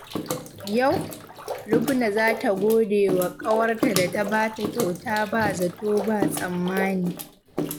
Yau, Lubna za ta gode wa ƙawarta da ta ba ta kyauta ba zato ba tsammani.